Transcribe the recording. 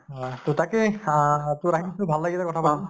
আহ তʼ তাকে তʼ তো ভাল লাগিল কথা পাতি